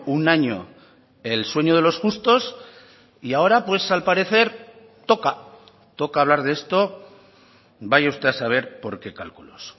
un año el sueño de los justos y ahora pues al parecer toca toca hablar de esto vaya usted a saber por qué cálculos